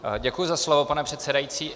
Děkuji za slovo, pane předsedající.